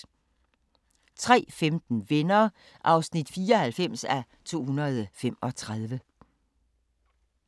03:15: Venner (94:235)